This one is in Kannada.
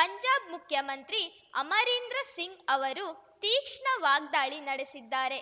ಪಂಜಾಬ್‌ ಮುಖ್ಯಮಂತ್ರಿ ಅಮರೀಂದರ್‌ ಸಿಂಗ್‌ ಅವರು ತೀಕ್ಷ್ಣ ವಾಗ್ದಾಳಿ ನಡೆಸಿದ್ದಾರೆ